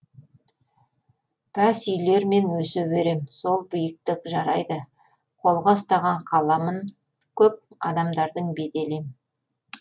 пәс үйлермен өсе берем сол биіктік жарайды қолға ұстаған қаламын көп адамдардың беделі ем